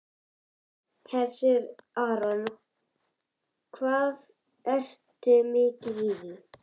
Hersir Aron: Ertu mikið í því?